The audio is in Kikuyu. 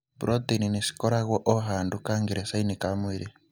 Proteini nĩcikoragwo o handũ kangerecainĩ ka mwĩrĩ.